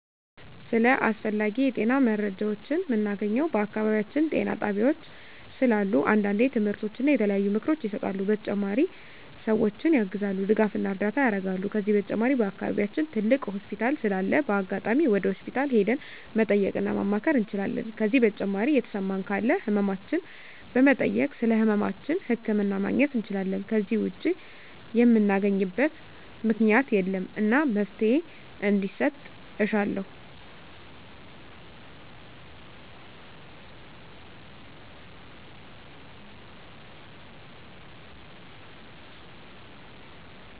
ስለ አስፈላጊ የጤና መረጃዎችን ምናገኘው በአካባቢያችን ጤና ጣቤያዎች ስላሉ አንዳንዴ ትምህርቶች እና የተለያዩ ምክሮች ይሰጣሉ በተጨማሪ ሰዎችን ያግዛሉ ድጋፍና እርዳታ ያረጋሉ ከዚህ በተጨማሪ በአከባቢያችን ትልቅ ሆስፒታል ስላለ በአጋጣሚ ወደ ሆስፒታል ሄደን መጠየቅ እና ማማከር እንችላለን ከዜ በተጨማሪ የተሰማን ካለ ህመማችን በመጠየክ ስለህመማችን ህክምና ማግኘት እንችላለን ከዜ ውጭ ምናገኝበት ምክኛት የለም እና መፍትሔ እንዲሰጥ እሻለሁ